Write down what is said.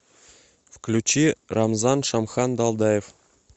включи рамзан шамхан далдаев